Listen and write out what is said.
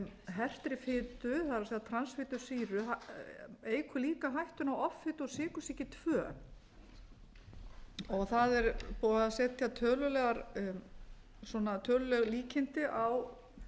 hertri fitu það er transfitusýru eykur líka ættu á offitu og sykursýki annað það er búið að setja töluleg líkindi á